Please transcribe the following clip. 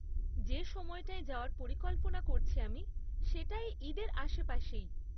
যে সময়টায় যাওয়ার পরিকল্পনা করছি আমি সেটা এই ঈদের আশেপাশেই।